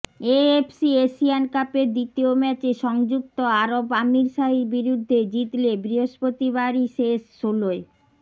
AFC Asian কাপের দ্বিতীয় ম্যাচে সংযুক্ত আরব আমিরশাহির বিরুদ্ধে জিতলে বৃহস্পতিবারই শেষ ষোলোয়